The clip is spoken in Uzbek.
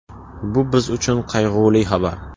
Bu biz uchun qayg‘uli xabar.